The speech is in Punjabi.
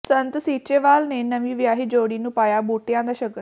ਸੰਤ ਸੀਚੇਵਾਲ ਨੇ ਨਵੀਂ ਵਿਆਹੀ ਜੋੜੀ ਨੂੰ ਪਾਇਆ ਬੂਟਿਆਂ ਦਾ ਸ਼ਗਨ